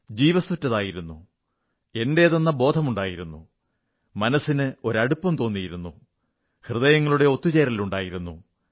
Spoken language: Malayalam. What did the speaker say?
ജീവസ്സുറ്റതായിരുന്നു എന്റേതെന്ന ബോധമുണ്ടായിരുന്നു മനസ്സിനൊരു അടുപ്പം തോന്നിയിരുന്നു ഹൃദയങ്ങളുടെ ഒത്തുചേരലുണ്ടായിരുന്നു